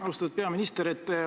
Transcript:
Austatud peaminister!